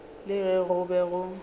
le ge go be go